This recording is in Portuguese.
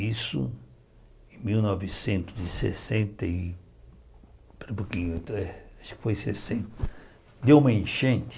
Isso em mil novecentos e sessenta e, acho que foi sessenta, deu uma enchente.